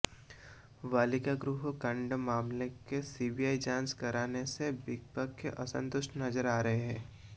बालिका गृह कांड मामले की सीबीआई जांच कराने से विपक्ष असंतुष्ट नजर आ रहा है